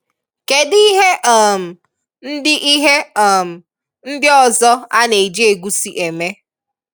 Kedụ ihe um ndị ihe um ndị ọzọ a na-eji egusi eme?